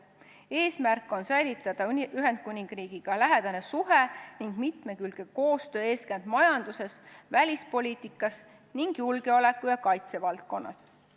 Eesmärk on säilitada Ühendkuningriigiga lähedane suhe ning mitmekülgne koostöö eeskätt majanduses, välispoliitikas ning julgeoleku- ja kaitsevaldkonnas.